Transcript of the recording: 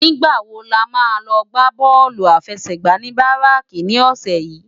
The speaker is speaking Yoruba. Nigbá wó lámá lò gbá bòlú áláfèsègbá ni báráki ni òsè yi?